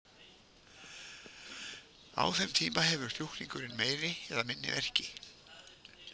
Á þeim tíma hefur sjúklingurinn meiri eða minni verki.